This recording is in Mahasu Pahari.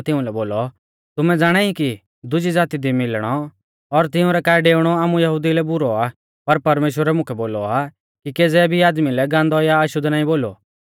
पतरसै तिउंलै बोलौ तुमै ज़ाणाई की दुजी ज़ाती दी मिलणौ और तिऊं रै काऐ डेउणौ आमु यहुदिऊ लै बुरौ आ पर परमेश्‍वरै मुकै बोलौ आ कि केज़ै भी आदमी लै गान्दौ या अशुद्ध नाईं बोलु